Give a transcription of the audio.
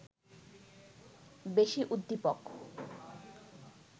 বেশি উদ্দীপক